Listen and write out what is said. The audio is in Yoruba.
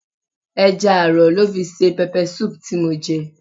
Ẹja aro lọ fi ṣe peppersoup tí mo jẹ.